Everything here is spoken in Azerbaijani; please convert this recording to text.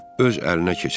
Öz əlinə keçirər.